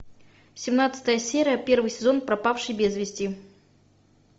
семнадцатая серия первый сезон пропавший без вести